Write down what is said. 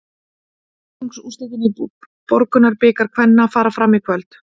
Fjórðungsúrslitin í Borgunarbikar kvenna fara fram í kvöld.